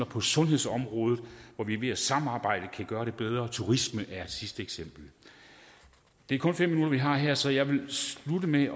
på sundhedsområdet hvor vi ved at samarbejde kan gøre det bedre turisme er et sidste eksempel det er kun fem minutter vi har her så jeg vil slutte med